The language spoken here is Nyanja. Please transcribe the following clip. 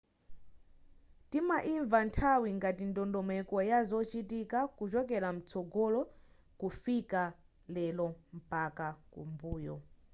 timainva nthawi ngati ndondomeko ya zochitika kuchokela mtsogolo kufika lero mpaka m'mbuyo